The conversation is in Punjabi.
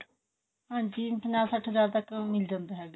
ਹਾਂਜੀ ਪੰਜਾ ਸੱਠ ਹਜਾਰ ਤੱਕ ਮਿਲ ਜਾਂਦਾ ਹੈਗਾ